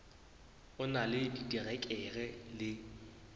o na le diterekere le